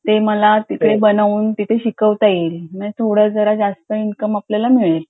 ते मला तिकडे बनऊन शिकवता येईल म्हणजे थोडं जरा जास्त इन्कम आपल्याला मिळेल